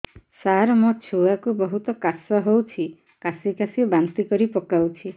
ସାର ମୋ ଛୁଆ କୁ ବହୁତ କାଶ ହଉଛି କାସି କାସି ବାନ୍ତି କରି ପକାଉଛି